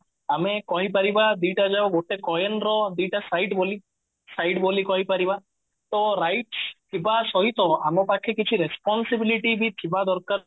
ଆମେ କହିପାରିବା ଦିଟା ଯୋଉ ଗୋଟେ coin ର ଦିଟା side ବୋଲି side ବୋଲି କହି ପାରିବା ତ rights ଥିବା ସହିତ ଆମ ପାଖରେ କିଛି responsibility ବି ଥିବା ଦରକାର